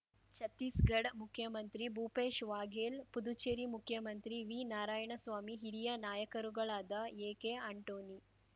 ಛತ್ತೀಸ್‌ಗಢ ಮುಖ್ಯಮಂತ್ರಿ ಭೂಪೇಶ್ ವಾಘೇಲ್ ಪುದುಚೆರಿ ಮುಖ್ಯಮಂತ್ರಿ ವಿ ನಾರಾಯಣಸ್ವಾಮಿ ಹಿರಿಯ ನಾಯಕರುಗಳಾದ ಎಕೆ ಆಂಟೋನಿ